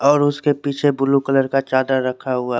और उसके पीछे ब्लू कलर का चादर रखा हुआ है।